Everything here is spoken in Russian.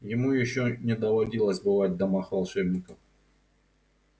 ему ещё не доводилось бывать в домах волшебников